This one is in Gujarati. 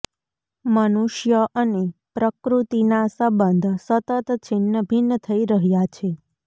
મનુષ્ય અને પ્રકૃતિના સંબંધ સતત છિન્નભિન્ન થઇ રહ્યા છે